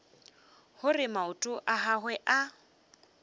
gore maoto a gagwe a